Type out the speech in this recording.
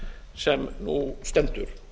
sem nú stendur